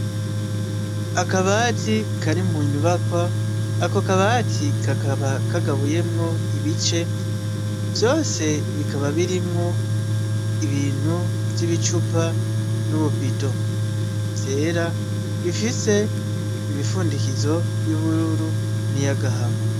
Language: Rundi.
Akabati kari munyubakwa ako kabati kakaba kagabuyemwo ibicee vyose bikaba birimwo ibintu vyibicupa n'ububido vyera bifise imifundikizo yubururu niya agahama.